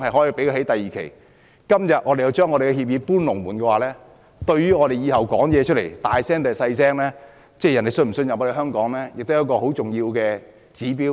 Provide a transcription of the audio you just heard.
如果我們今天要把協議"搬龍門"，對於我們以後說話的聲音是大或小——即別人是否信任香港，亦是很重要的指標。